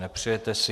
Nepřejete si.